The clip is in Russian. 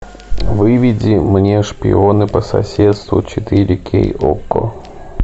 выведи мне шпионы по соседству четыре кей окко